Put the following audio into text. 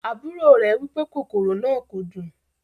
Àbúrò rẹ wipe kòkòrò náà kò dùn.